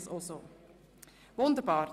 – Das ist der Fall.